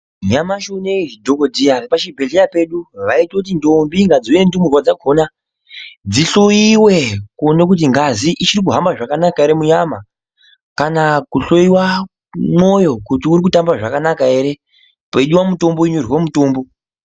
Nyamashi unowu zvidhokodheya zvepachibhedhleya vaitoti ndombi ngadziuye ndumurwa dzakhona dzihloiwe kuningira kuona kuti ngazi ichirikuhamba zvakana ere munyama kana kuhloyiwa mwoyo kuti urikutamba zvakanaka ere peida mutombo opuwa mutombo.